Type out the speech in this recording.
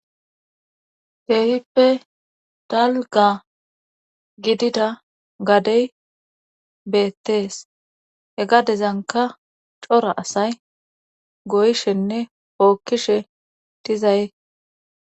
Keehippe dalga gidida gadey beettees he gadezanka cora asay goyshenne bookkishe dizaye